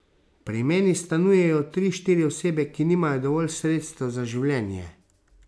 Pri meni stanujejo tri, štiri osebe, ki nimajo dovolj sredstev za življenje.